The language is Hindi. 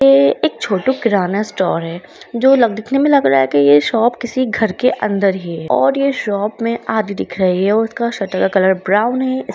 ये एक छोटू किराना स्टोर है जो लग दिखने में लग रहा है ये शॉप किसी घर के अंदर ही है और ये शॉप हमे आधी दिख रही है उसका शटर का कलर ब्राउन है इस --